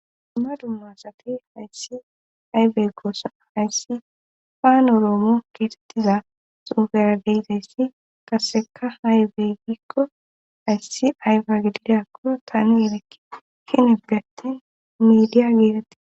Dumma dummasati hayssi ayfey goossa hayssi paanoroomo keesettiza sufera deyizayssi qaseka hayfeygikko hayssi ayfe gididakkoro tani yelekki kineggatin midiya giitette.